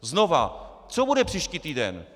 Znovu: Co bude příští týden?